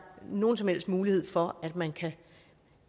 nogen som helst mulighed for at man kan